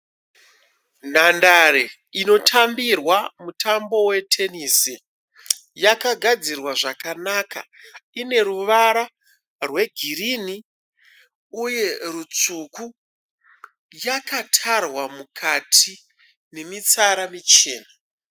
Nhandare inotambirwa mutambo wetenesi yakagadzirwa zvakanaka ine ruvara rwegirini uye rutsvuku yakatarwa mukati nemitsara michena.